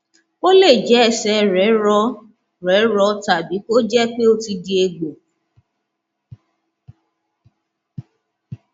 ó lè jẹ ẹsẹ rẹ rọ rẹ rọ tàbí kó jẹ pé ó ti di egbò